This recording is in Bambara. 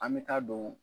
An bɛ taa don